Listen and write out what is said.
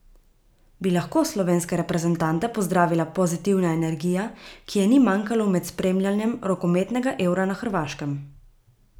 Bi lahko slovenske reprezentante pozdravila pozitivna energija, ki je ni manjkalo med spremljanjem rokometnega Eura na Hrvaškem?